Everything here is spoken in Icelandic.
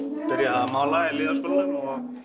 að mála í lýðháskólanum og